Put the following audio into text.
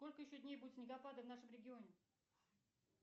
сколько еще дней будут снегопады в нашем регионе